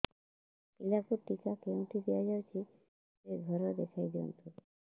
ପିଲାକୁ ଟିକା କେଉଁଠି ଦିଆଯାଉଛି ସେ ଘର ଦେଖାଇ ଦିଅନ୍ତୁ